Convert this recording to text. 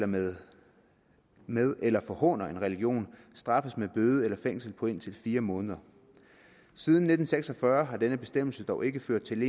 med med eller forhåner en religion straffes med bøde eller fængsel på indtil fire måneder siden nitten seks og fyrre har denne bestemmelse dog ikke ført til